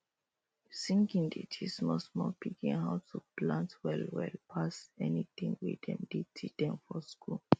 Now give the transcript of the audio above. singing dey teach small small pikin how to plant well well pass any tin wey dem dey teach dem for school